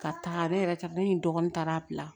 Ka taa ne yɛrɛ ka ne ni n dɔgɔnin